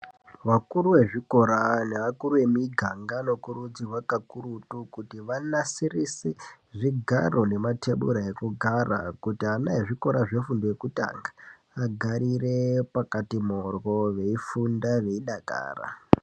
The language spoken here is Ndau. Vakuru vezvikora nevakuru vemiganga vanokurudzirwa kakurutu kuti vanasirise zvigaro nematebura ekugara. Kuti ana ezvikora zvefundo yekutanga agarire pakati moryo veifunda veidakara.